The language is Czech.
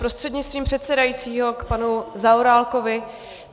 Prostřednictvím předsedajícího k panu Zaorálkovi.